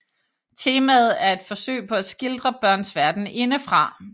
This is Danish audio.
Temaet er et forsøg på at skildre børns verden indefra